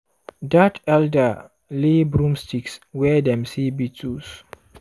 dat elder lay broomsticks where dem see beetles.